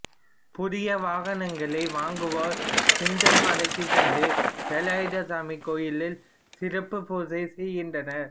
புதிய வாகனங்கள் வாங்குவோர் திண்டல் மலைக்குச் சென்று வேலாயுதசாமி கோயிலில் சிறப்பு பூசை செய்கின்றனர்